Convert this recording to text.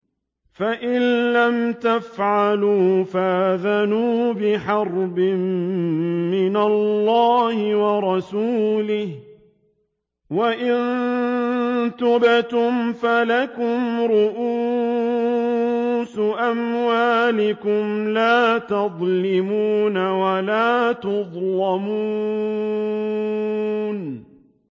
فَإِن لَّمْ تَفْعَلُوا فَأْذَنُوا بِحَرْبٍ مِّنَ اللَّهِ وَرَسُولِهِ ۖ وَإِن تُبْتُمْ فَلَكُمْ رُءُوسُ أَمْوَالِكُمْ لَا تَظْلِمُونَ وَلَا تُظْلَمُونَ